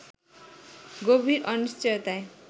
গভীর অনিশ্চয়তায়